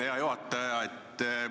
Hea juhataja!